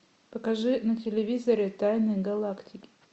покажи на телевизоре тайны галактики